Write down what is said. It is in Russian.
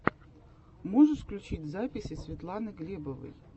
можешь включить записи светланы глебовой